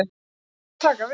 Og ályktanir taka við.